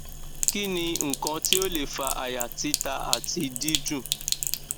kini nkan ti o le fa aya tita ati didun